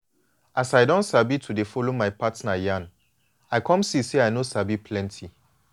as i don sabi to dey follow my partner yan i come see say i no sabi plenty